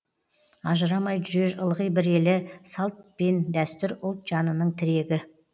ажырамай жүрер ылғи бір елі салт пен дәстүр ұлт жанының тірегі